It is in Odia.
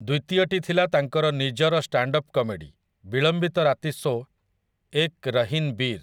ଦ୍ୱିତୀୟଟି ଥିଲା ତାଙ୍କର ନିଜର ଷ୍ଟାଣ୍ଡ୍ଅପ୍ କମେଡି, ବିଳମ୍ବିତ ରାତି ଶୋ 'ଏକ୍ ରହିନ୍ ବୀର୍' ।